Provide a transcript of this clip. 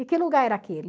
E que lugar era aquele?